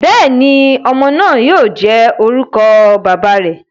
Bẹẹni, ọmọ naa yoo jẹ orukọ baba rẹ.